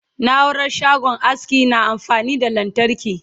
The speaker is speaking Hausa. naurar shagon aski na amfani da lantarki